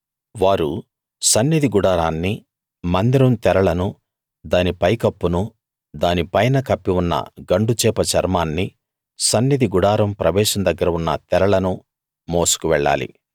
వారు సన్నిధి గుడారాన్నీ మందిరం తెరలను దాని పైకప్పునూ దాని పైన కప్పి ఉన్న గండుచేప చర్మాన్నీ సన్నిధి గుడారం ప్రవేశం దగ్గర ఉన్న తెరలనూ మోసుకు వెళ్ళాలి